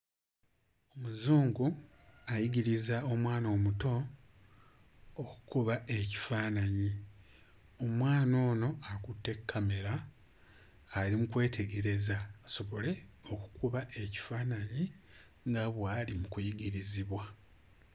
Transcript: Muzungu ayigiriza omwana omuto okukuba ekifaananyi omwana ono akutte kkamera ali mu kwetegereza asobole okukuba ekifaananyi nga bw'ali mu kuyigirizibwa.